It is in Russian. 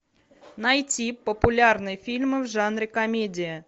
найти популярные фильмы в жанре комедия